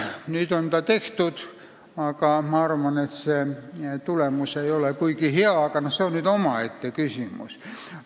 Nüüd on see tehtud, aga ma arvan, et tulemus ei ole kuigi hea, kuid see on omaette küsimus.